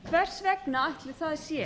hvers vegna ætli það sé